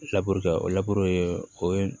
labure o o ye